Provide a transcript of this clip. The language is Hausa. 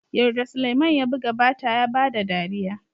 yarda sulaiman ya buga bata ya bada dariya